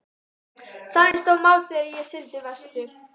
Þannig stóðu mál þegar ég sigldi vestur.